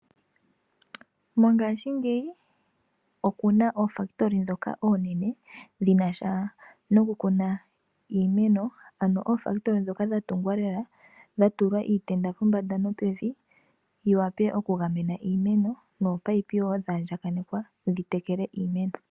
Mongaashingeyi okuna oofakitoli ndhoka oonene dhina sha noku kuna iimeno, ano oofakitoli ndhoka dha tungwa lela dha tulwa iitenda pombanda nopevi, yi wape okugamena iimeno, nominino woo dha andjakanekwa dhi tekele iimeno.